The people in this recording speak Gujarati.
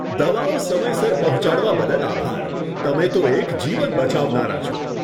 દવાઓ સમયસર પહોંચાડવા બદલ આભાર. તમે તો એક જીવન બચાવનારા છો.